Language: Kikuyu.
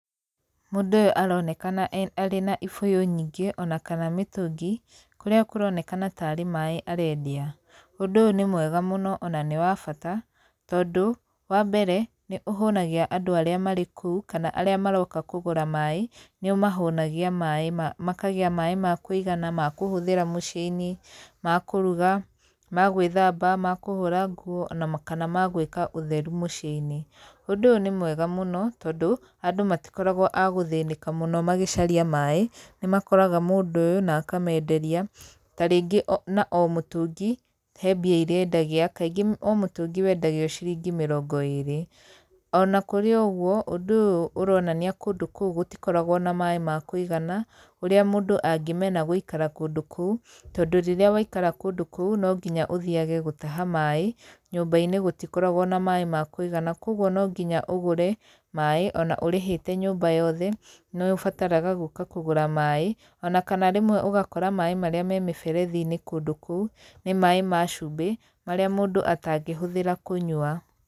Mũndũ ũyũ aronekana arĩ na ibũyũ nyingĩ, ona kana mĩtũngi. Kũrĩa kũronekana ta arĩ maĩ arendia. Ũndũ ũyũ nĩ mwega mũno ona nĩ wa bata, tondũ wa mbere, nĩ ũhũnagia andũ arĩa marĩ kũu kana arĩa maroka kũgũra maĩ nĩ ũmahũnagia maĩ, makagĩa maĩ ma kũigana ma kũhũthĩra mũciĩ-inĩ, ma kũruga, ma gwĩthamaba, ma kũhũra nguo, ona kana ma gwĩka ũtheru mũciĩ-inĩ. Ũndũ ũyũ nĩ mwega mũno tondũ, andũ matikoragwo a gũthĩnĩka mũno magĩcaria maĩ, nĩ makoraga mũndũ ũyũ na akamenderia, ta rĩngĩ na o mũtũngi he mbia irĩa endagia. Kaingĩ o mũtũngi wendagio ciringĩ mĩrongo ĩrĩ. Ona kũrĩ o ũguo, ũndũ ũyũ ũronania kũndũ kũu gũtikoragwo na maĩ ma kũigana, ũrĩa mũndũ angimena gũikara kũndũ kũu, tondũ rĩrĩa waikara kũndũ kũu no nginya ũthiage gũtaha maĩ, nyũmba-inĩ gũtikoragwo na maĩ ma kũigana, kũguo no nginya ũgũre maĩ, ona ũrĩhĩte nyũmba yothe ni ũbataraga gũka kũgũra maĩ ona kana rĩmwe ũgakora maĩ marĩa me mĩberethi-inĩ kũndũ kũu nĩ maĩ ma cumbĩ marĩa mũndũ atangĩhũthĩra kũnyua.